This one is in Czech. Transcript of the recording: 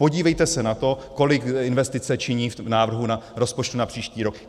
Podívejte se na to, kolik investice činí v návrhu rozpočtu na příští rok.